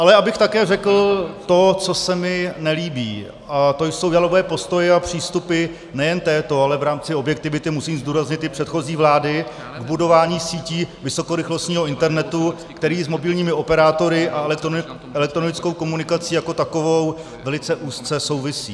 Ale abych také řekl to, co se mi nelíbí, a to jsou jalové postoje a přístupy nejen této, ale v rámci objektivity musím zdůraznit i předchozí vlády k budování sítí vysokorychlostního internetu, který s mobilními operátory a elektronickou komunikací jako takovou velice úzce souvisí.